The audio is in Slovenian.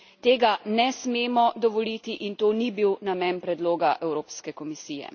Tega ne smemo dovoliti in to ni bil namen predloga Evropske komisije.